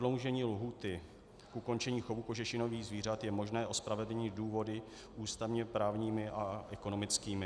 Prodloužení lhůty k ukončení chovu kožešinových zvířat je možné ospravedlnit důvody ústavně právními a ekonomickými.